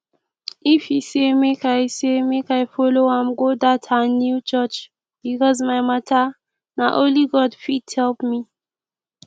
ify say make i say make i follow am go dat her new church because my matter na only god fit help me